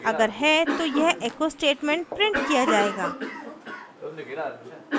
अगर है तो यह echo statement printed किया जायेगा